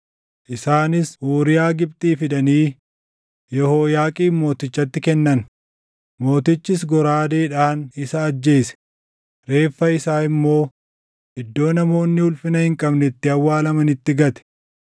Isaanis Uuriyaa Gibxii fidanii Yehooyaaqiim mootichatti kennan; mootichis goraadeedhaan isa ajjeese; reeffa isaa immoo iddoo namoonni ulfina hin qabne itti awwaalamanitti gate.